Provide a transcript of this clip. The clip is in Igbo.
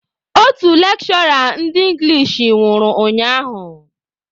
Otu lekshụra ndị engilish nwụrụ ụnyaahụ.